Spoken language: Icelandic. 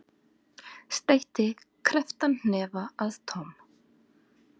Steytti krepptan hnefa að Tom.